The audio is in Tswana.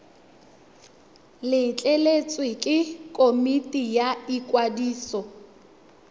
letleletswe ke komiti ya ikwadiso